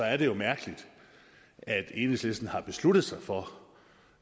er det jo mærkeligt at enhedslisten har besluttet sig for